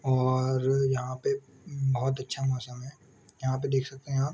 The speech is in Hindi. और यहाँ पे बहुत अच्छा मौसम है यहाँ पे देख सकते है आप।